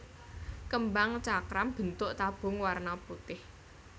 Kembang cakram bentuk tabung warna putih